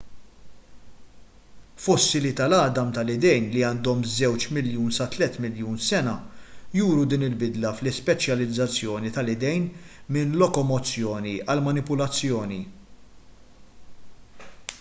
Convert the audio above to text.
fossili tal-għadam tal-idejn li għandhom żewġ miljun sa tliet miljun sena juru din il-bidla fl-ispeċjalizzazzjoni tal-idejn minn lokomozzjoni għal manipulazzjoni